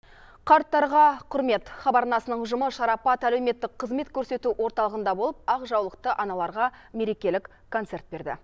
қарттарға құрмет хабар арнасының ұжымы шарапат әлеуметтік қызмет көрсету орталығында болып ақ жаулықты аналарға мерекелік концерт берді